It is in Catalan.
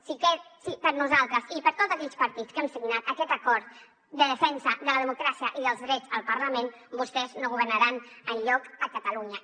sí que per nosaltres i per tots aquells partits que han signat aquest acord de defensa de la democràcia i dels drets al parlament vostès no governaran enlloc a catalunya